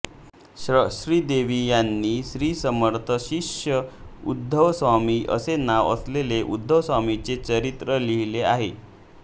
शं श्री देव यांनी श्रीसमर्थशिष्य उद्धवस्वामी असे नाव असलेले उद्धवस्वामींचे चरित्र लिहिले आहे